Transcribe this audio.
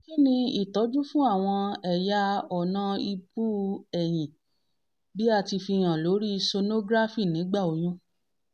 kini itọju fun àwọn ẹ̀yà ọ̀nà ibu-eyin bi a ti fihan lori sonography nigba oyun?